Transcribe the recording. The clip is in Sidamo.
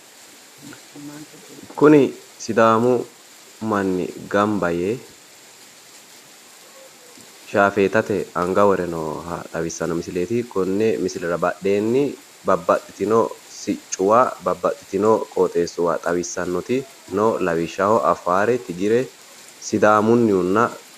Kuni sidaamu manni gamba yee shaafeetate anga wore nooha xawissanno misileeti. Konni misilera badheenni babbaxitino siccuwa babbaxxitino qooxeessuwa xawissannoti lawishshaho Afaare Tigire Sidaammunnihunna..